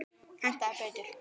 Hentaði betur.